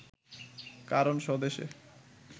কারণ স্বদেশে